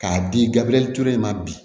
K'a di gabiriyɛli ture ma bi